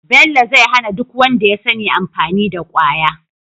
bello zai hana duk wanda yasani amfani da kwaya